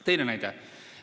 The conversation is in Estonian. Teine näide.